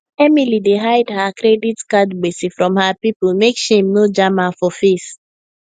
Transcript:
emily dey hide her credit card gbese from her people make shame no jam her for face